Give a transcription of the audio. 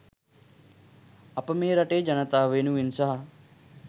අප මේ රටේ ජනතාව වෙනුවෙන් සහ